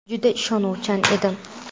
Juda ishonuvchan edim.